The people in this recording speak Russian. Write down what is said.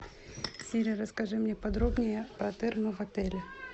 сири расскажи мне подробнее про термы в отеле